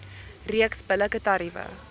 reeks billike tariewe